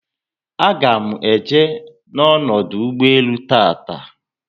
Aga m eje na ọdụ ụgbọelu tata